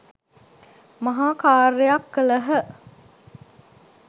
මහා කාර්යයක් කළහ.